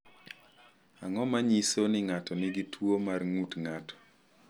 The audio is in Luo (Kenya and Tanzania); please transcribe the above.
Ang’o ma nyiso ni ng’ato nigi tuwo mar ng’ut ng’ato?